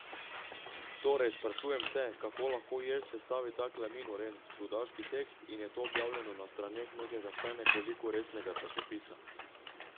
Torej, sprašujem se, kako lahko Jež sestavi takle minoren, čudaški tekst in je to objavljeno na straneh nekega vsaj nekoliko resnega časopisa.